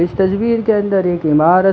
इस तस्वीर के अंदर एक इमारत--